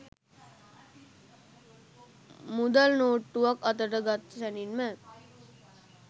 මුදල් නෝට්ටුවක් අතට ගත් සැනින්ම